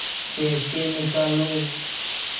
पैसे निकालो